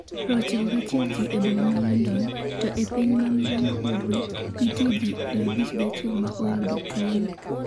91 ji e boma ma London, to e piny ma milambo-ugwe, nitie ji 51 ma oyudo tuwono.